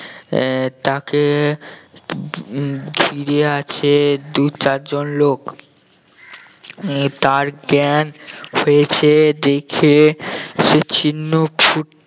আহ তাকে উম ঘিরে আছে দুই চারজন লোক আহ তার জ্ঞান ফিরেছে দেখে সে চিহ্ন ফুটতে